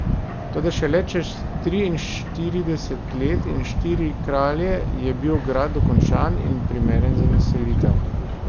Toda šele čez triinštirideset let in štiri kralje je bil grad dokončan in primeren za naselitev.